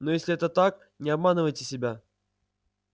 но если это так не обманывайте себя